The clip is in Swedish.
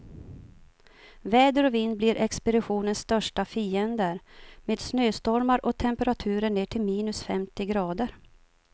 Väder och vind blir expeditionens största fiender, med snöstormar och temperaturer ner till minus femtio grader.